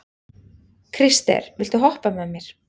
Krister, viltu hoppa með mér?